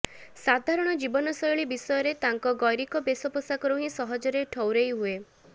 ସାଧାରଣ ଜୀବନ ଶୈଳୀ ବିଷୟରେ ତାଙ୍କ ଗୈରିକ ବେଶ ପୋଷକରୁ ହିଁ ସହଜରେ ଠଉରେଇ ହୁଏ